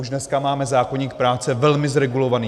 Už dneska máme zákoník práce velmi zregulovaný.